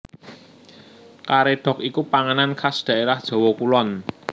Karédhok iku panganan khas dhaérah Jawa Kulon